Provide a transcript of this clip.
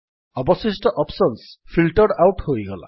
ଅବଶିଷ୍ଟ options filtered out ହୋଇଗଲା